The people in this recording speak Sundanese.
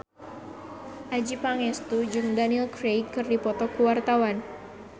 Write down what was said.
Adjie Pangestu jeung Daniel Craig keur dipoto ku wartawan